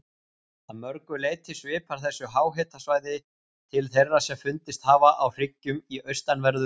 Að mörgu leyti svipar þessu háhitasvæði til þeirra sem fundist hafa á hryggjum í austanverðu